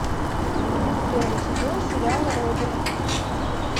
первый сезон сериала родина